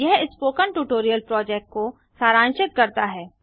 यह spoken tutorial project को सारांशित करता है